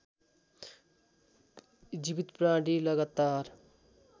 जीवित प्राणी लगातार